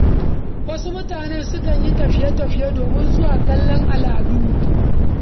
Wasu mutane sun kan yin tafiye-tafiye domin zuwa kalan aladu.